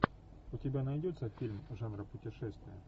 у тебя найдется фильм жанра путешествие